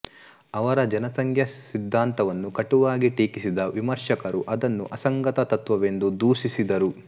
ಅವನ ಜನಸಂಖ್ಯಾ ಸಿದ್ದಾಂತವನ್ನು ಕಟುವಾಗಿ ಟೀಕಿಸಿದ ವಿಮರ್ಶಕರು ಅದನ್ನು ಅಸಂಗತ ತತ್ವವೆಂದು ದೂಷಿಸಿದರು